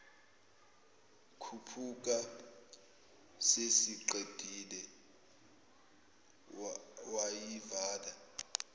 khuphuka sesiqedile wayivala